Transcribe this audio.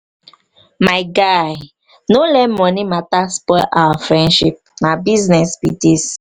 my guy no let money matter spoil our friendship na business be this.